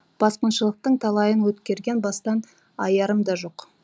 басқыншылықтың талайын өткерген бастан аярым да жоқ